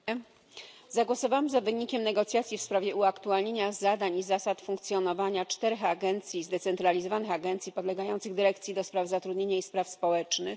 Panie Przewodniczący! Zagłosowałam za wynikiem negocjacji w sprawie uaktualnienia zadań i zasad funkcjonowania czterech zdecentralizowanych agencji podlegających dyrekcji do spraw zatrudnienia i spraw społecznych.